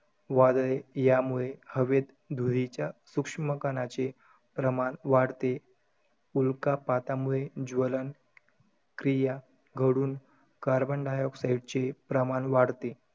वादळे, यामुळे, हवेत धुळीच्या सुक्ष्मकणाचे प्रमाण वाढते. उल्कापातामुळे ज्वलन क्रिया घडुन, carbon dioxide चे प्रमाण वाढते.